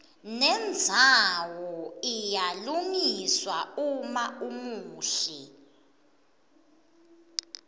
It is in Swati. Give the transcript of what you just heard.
nendzawo iyalungiswa uma umuhle